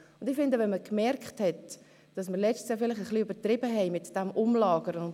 Ich muss etwas zu Fritz Wyss sagen.